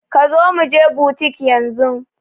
Kazo muje butik yanzun